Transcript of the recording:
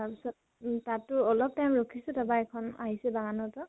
তাৰ পিছত তাতো অলপ time ৰখিছো, তা পা এইখন আহিছে পৰা